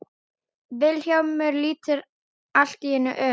Vilhjálmur lítur allt í einu upp.